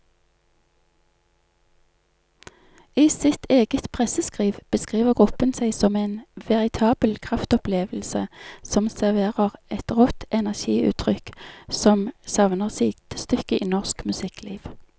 I sitt eget presseskriv beskriver gruppen seg som en veritabel kraftopplevelse som serverer et rått energiutrykk som savner sidestykke i norsk musikkliv.